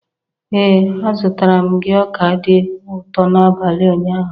Ee a zụtara m gị ọka dị ụtọ n'abalị ụnyaahụ.